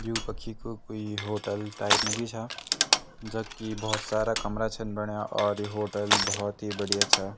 यु कखी कु कुई होटल टाइप मा जी छा जख की भोत सारा कमरा छन बन्यां और ये होटल भोत ही बढ़िया छा।